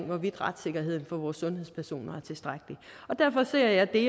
hvorvidt retssikkerheden for vores sundhedspersoner er tilstrækkelig derfor ser jeg det